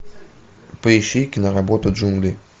поищи киноработу джунгли